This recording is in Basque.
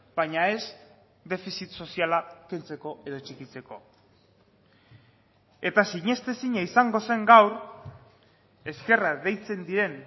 baina ez defizit soziala kentzeko edo txikitzeko eta sinestezina izango zen gaur ezkerrak deitzen diren